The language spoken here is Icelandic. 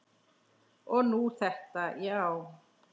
Og nú þetta, já.